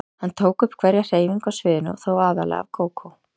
Hann tók upp hverja hreyfingu á sviðinu og þó aðallega af Kókó.